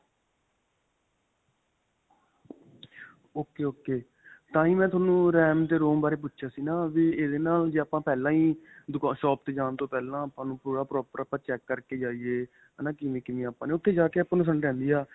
ok ok. ਤਾਹੀਂ ਮੈਂ ਤੁਹਾਨੂੰ RAM ਤੇ ROM ਬਾਰੇ ਪੁੱਛਿਆ ਸੀ ਨਾਂ, ਵੀ ਇਹਦੇ ਨਾਲ ਜੇ ਆਪਾਂ ਪਹਿਲਾਂ ਹੀ shop ਤੇ ਜਾਣ ਤੋਂ ਪਹਿਲਾਂ ਹੀ ਆਪਾਂ ਨੂੰ ਪੂਰਾ proper ਆਪਾਂ check ਕਰਕੇ ਜਾਇਏ ਹੈ ਨਾਂ. ਕਿਵੇਂ-ਕਿਵੇਂ ਆਪਾਂ ਉੱਥੇ ਜਾਂ ਕੇ ਆਪਾਂ ਨੂੰ ਹੈ.